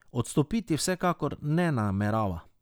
Odstopiti vsekakor ne namerava.